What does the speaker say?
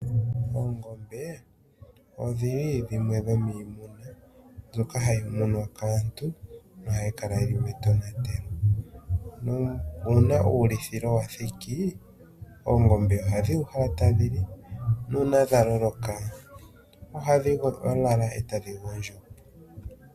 Oongombe odhili dhimwe dhomiimuna mbyoka hayi muna kaantu nohayi kala yili metonatelo, uuna uuluthilo wathiki oongombe ohadhi uhala tadhili nuuna dha loloka ohadhi lala etadhi gondjo.